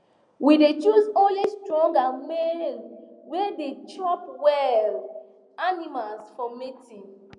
we dey choose only strong and male way dey chop well animals for mating